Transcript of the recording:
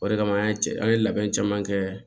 O de kama an ye cɛ an ye labɛn caman kɛ